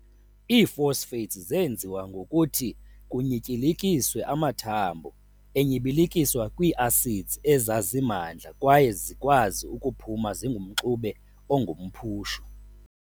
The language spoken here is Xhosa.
Ii-phosphates zeenziwa ngokuthi kunyityilikiswe amathambo enyibilikiswa kwii-acids ezazimandla kwaye zikwazi ukuphuma zingumxube ongumphushu.